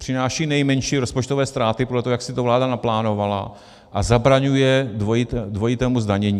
Přináší nejmenší rozpočtové ztráty podle toho, jak si to vláda naplánovala, a zabraňuje dvojitému zdanění.